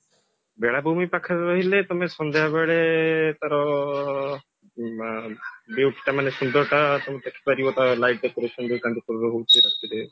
ବେଳାଭୂମି ପାଖରେ ରହିଲେ ତମେ ସନ୍ଧ୍ୟାବେଳେ ତାର view ଟା ମାନେ ସୁନ୍ଦରତା ଦେଖିପାରିବ ମାନେ ରାତିରେ